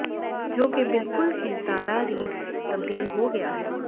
ਜੋ ਕਿ ਬਿਲਕੁਲ ਕੀ ਤਾਰਾ ਰੀਡ ਤਬਦੀਲ ਹੋ ਗਿਆ ਹੈ